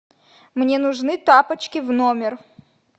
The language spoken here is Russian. мне нужны тапочки в номер